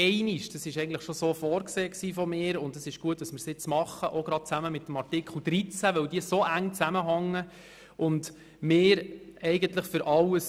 Das habe ich eigentlich auch so vorgesehen, und es ist gut, dass wir jetzt so vorgehen, zusammen mit Artikel 13, weil die Artikel eng zusammenhängen und wir bei allen dasselbe wollen.